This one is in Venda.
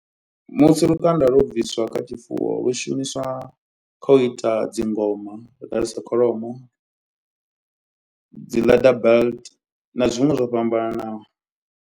Musi lukanda lwo bviswa kha tshifuwo lu shumiswa kha u ita dzingoma nda nda sa kholomo dzi leather belt na zwiṅwe zwo fhambananaho.